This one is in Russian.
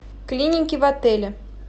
клиники в отеле